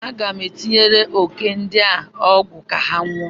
Aga m etinyere òké ndi a ọgwụ ka ha nwụọ.